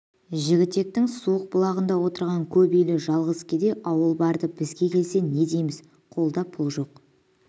жігітектің суық бұлағында отырған көп үйлі жалғыз кедей ауыл барды бізге келсе не дейміз қолда пұл жоқ